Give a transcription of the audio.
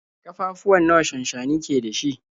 Ƙafafuwa nawa shansshani ke da shi?